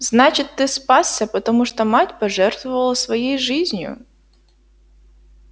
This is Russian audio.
значит ты спасся потому что мать пожертвовала своей жизнью